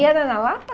E era na Lapa?